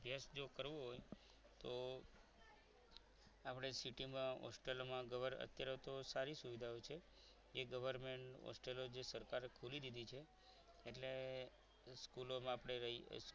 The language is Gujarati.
જો કરવો હોય તો આપણે city માં hostel માં અત્યારે તો સારી સુવિધાઓ હોય છે એ government હોસ્ટેલો જે સરકારે ખોલી દીધેલી છે એટલે સ્કૂલોમાં આપણે રહી